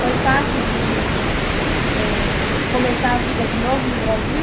Foi fácil de, eh, começar a vida de novo no Brasil?